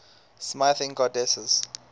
smithing goddesses